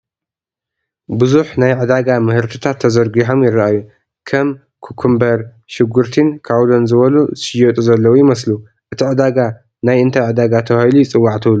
ብዙሕ ናይ ዕዳጋ ምህርትታት ተዘርጊሖም ይራኣዩ፡፡ ከም ኩከምበር፣ ሽጉርቲን ካውሎን ዝበሉ ዝሽየጡ ዘለው ይመስሉ፡፡ እቲ ዕዳጋ ናይ እንታይ ዕዳጋ ተባሂሉ ይፅዋዕ ትብሉ?